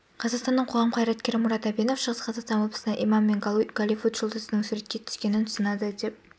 қазақстанның қоғам қайраткері мұрат әбенов шығыс қазақстан облысында имам мен голливуд жұлдызының суретке түскенін сынады деп